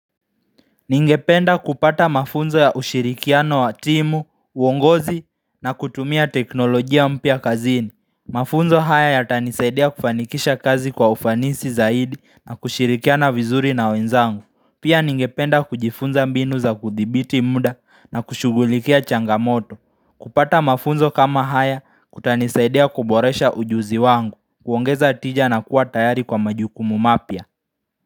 Ningependa kupata mafunzo ya ushirikiano wa timu, uongozi na kutumia teknolojia mpya kazini. Mafunzo haya ya tanisaidia kufanikisha kazi kwa ufanisi zaidi na kushirikiana vizuri na wenzangu. Pia ningependa kujifunza mbinu za kudhibiti muda na kushugulikia changamoto. Kupata mafunzo kama haya kutanisaidia kuboresha ujuzi wangu, kuongeza tija na kuwa tayari kwa majukumu mapya.